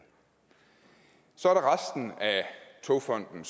så er der resten af togfonden